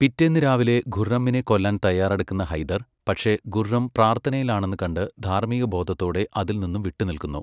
പിറ്റേന്ന് രാവിലെ ഖുർറമ്മിനെ കൊല്ലാൻ തയ്യാറെടുക്കുന്ന ഹൈദർ പക്ഷേ ഖുർറം പ്രാർത്ഥനയിലാണെന്നുകണ്ട് ധാർമികബോധത്തോടെ അതിൽനിന്ന് വിട്ടുനിൽക്കുന്നു.